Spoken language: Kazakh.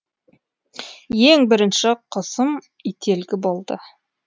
ең бірінші құсым ителгі болды